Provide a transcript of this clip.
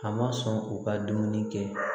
A ma sɔn u ka dumuni kɛ